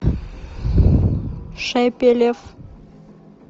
шепелев